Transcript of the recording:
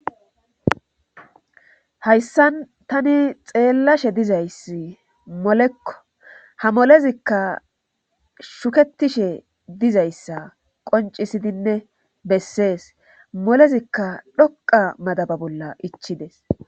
hayssa tani xeellashe dizayssi molekko ha molezikka shuketishe dizayssa qoncisidinne bessees molezikka dhoqa madaba bolla ichides